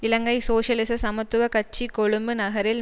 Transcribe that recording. இலங்கை சோசியலிச சமத்துவ கட்சி கொழும்பு நகரில்